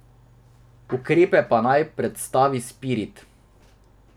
Ukrepe pa naj predstavi Spirit.